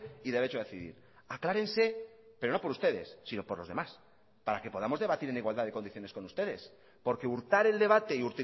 y derecho a decidir aclárense pero no por ustedes sino por los demás para que podamos debatir en igualdad de condiciones con ustedes porque hurtar el debate y